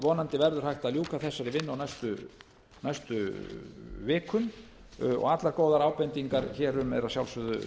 vonandi eru hægt að ljúka þessari vinnu á næstu vikum og allar góðar ábendingar hér um eru að sjálfsögðu